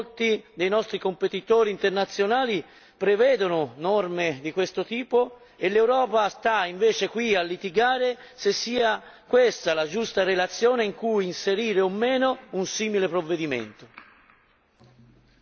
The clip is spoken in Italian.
La cosa assurda è che molti dei nostri competitori internazionali prevedono norme di questo tipo, mentre l'Europa sta qui a litigare se sia questa la giusta relazione in cui inserire o meno un simile provvedimento.